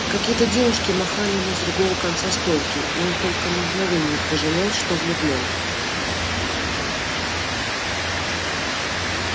какие-то девушки махали ему с другого конца стойки и он только на мгновение пожалел что влюблён